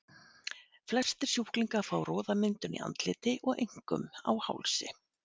Flestir sjúklinga fá roðamyndun í andliti og einkum á hálsi.